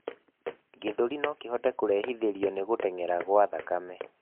gĩthũri nokihote kurehithirio ni guteng'era gwa thakame